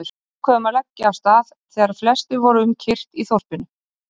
Við ákváðum að leggja af stað þegar flestir voru um kyrrt í þorpinu.